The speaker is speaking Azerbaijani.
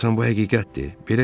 Görəsən bu həqiqətdir.